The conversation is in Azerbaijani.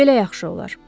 Belə yaxşı olar.